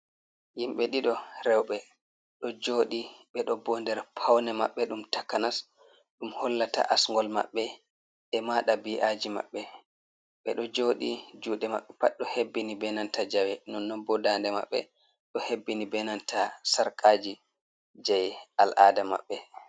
Himɓe ɗiɗo rewɓe ɗo jodi bedo bo nder paune maɓɓe ɗum takanas ɗum hollata asngol maɓɓe e mada bi'aji maɓɓe ɓe ɗo jodi jude maɓɓe pat do hebbini benanta jawe non nobbodande maɓɓe do hebbini benanta sarkaji jei al'ada maɓɓe.